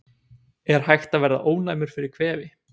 Er hægt að verða ónæmur fyrir kvefi?